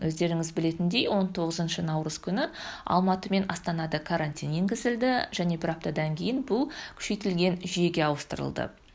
өздеріңіз білетіндей он тоғызыншы наурыз күні алматы мен астанада карантин енгізілді және бір аптадан кейін бұл күшейтілген жүйеге ауыстырылды